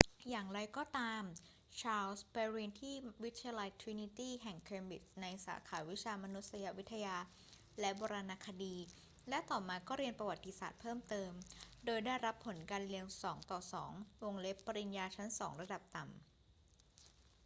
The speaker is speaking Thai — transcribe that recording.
อย่างไรก็ตาม ชาร์ลส์ไปเรียนที่วิทยาลัยตรินิตี้แห่งเคมบริดจ์ในสาขาวิชามานุษยวิทยาและโบราณคดี และต่อมาก็เรียนประวัติศาสตร์เพิ่มเติม โดยได้รับผลการเรียน 2:2 ปริญญาชั้นสองระดับต่ำ